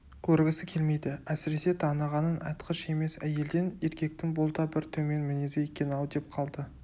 көргісі келмейді әсіресе танығанын айтқыш емес әйелден еркектің бұл да бір төмен мінезі екен-ау деп қалды